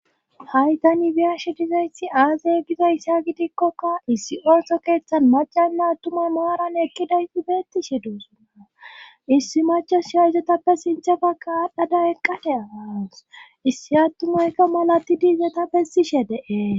hay tani beyashe dizaysi aazee gizayssa gidikkoka issi ooso keeththan macanna attumay maaran ekkidayi beettishe doosonna issi machoshiya izetappe sinthafekka aadhdhada eqqada qaas issi attumayka malatidi izota bessishe dee